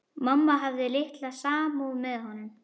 Mamma hafði litla samúð með honum.